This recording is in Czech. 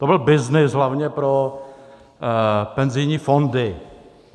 To byl byznys hlavně pro penzijní fondy.